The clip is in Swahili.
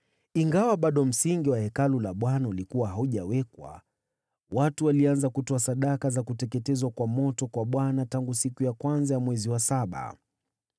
Ingawa bado msingi wa Hekalu la Bwana ulikuwa haujawekwa, watu walianza kutoa sadaka za kuteketezwa kwa moto kwa Bwana tangu siku ya kwanza ya mwezi wa saba.